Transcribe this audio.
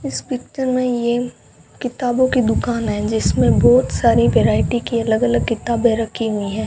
इस पिक्चर में ये किताबों की दुकान है जिसमें बहुत सारी वैरायटी की अलग अलग किताबें रखी हुई हैं।